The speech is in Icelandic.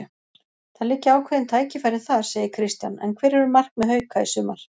Það liggja ákveðin tækifæri þar, segir Kristján en hver eru markmið Hauka í sumar?